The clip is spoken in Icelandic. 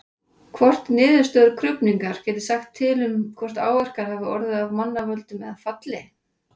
Hvort niðurstöður krufningar geti sagt til um hvort áverkar hafi orðið af mannavöldum eða falli?